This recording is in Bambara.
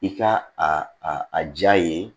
I ka a a a jaa ye